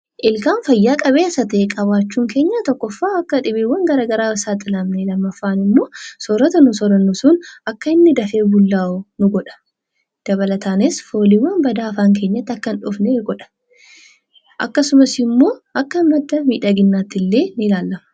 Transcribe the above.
Ilkaan fayyaa qabeessa ta'e qabaachuun keenya tokkoffaa akka dhibeewwan garaa garaan hin saaxilamne, lammaffaan immoo soorata nuyi soorannu sun akka inni dafee bullaa'u ni godha. Dabalataanis fooliiwwan badaa afaan keenyatti akka hin dhufne godha. Akkasumas immoo akka madda miidhaginaatti illee ni ilaalama.